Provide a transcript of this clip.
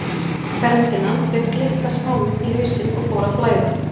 Ferdinand fékk litla smámynt í hausinn og fór að blæða.